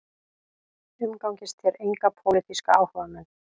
Umgangist þér enga pólitíska áhugamenn